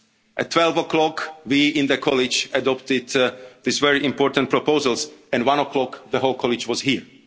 At 12 o'clock, we in the College adopted these very important proposals, and at one o'clock the whole College